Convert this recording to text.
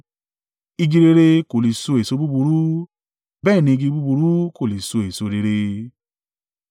Igi rere kò le so èso búburú, bẹ́ẹ̀ ni igi búburú kò lè so èso rere.